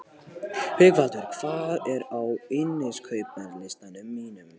Haukvaldur, hvað er á innkaupalistanum mínum?